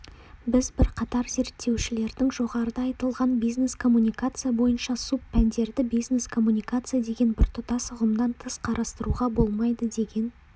біз бірқатар зерттеушілердің жоғарыда айтылған бизнес-коммуникация бойынша субпәндерді бизнес-коммуникация деген біртұтас ұғымнан тыс қарастыруға болмайды деген